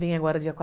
Vem agora dia